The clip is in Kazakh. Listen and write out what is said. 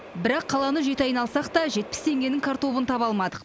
бірақ қаланы жеті айналсақ та жетпіс теңгенің картобын таба алмадық